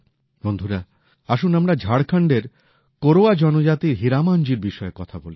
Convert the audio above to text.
বন্ধুরা আসুন আমরা ঝাড়খন্ডের কোরওয়া জনজাতির হীরামনজির বিষয়ে কথা বলি